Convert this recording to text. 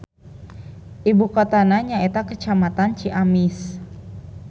Ibu kotana nyaeta Kacamatan Ciamis.